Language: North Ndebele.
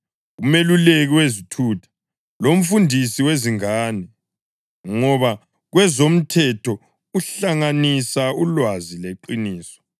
umeluleki wezithutha, lomfundisi wezingane, ngoba kwezomthetho uhlanganisa ulwazi leqiniso,